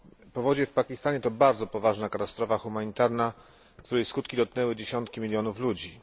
Powodzie w Pakistanie to bardzo poważna katastrofa humanitarna, której skutki dotknęły dziesiątki milionów ludzi.